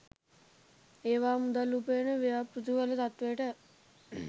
ඒවා මුදල් උපයන ව්‍යාපෘතිවල තත්ත්වයට